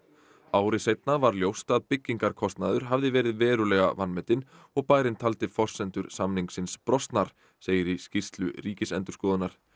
ári seinna var ljóst að byggingarkostnaður hafði verið verulega vanmetinn og bærinn taldi forsendur samningsins brostnar segir í skýrslu Ríkisendurskoðunar